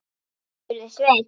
spurði Svein